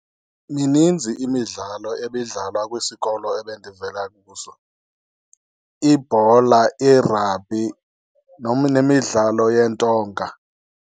Mininzi imidlalo ebidlalwa kwisikolo ebendivela kuso, ibhola, i-rugby, nemidlalo yeentonga.